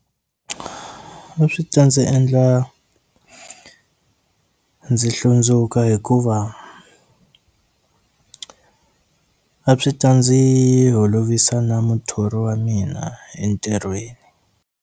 A swi ta ndzi endla ndzi hlundzuka hikuva a swi ta ndzi holovisa na muthori wa mina entirhweni.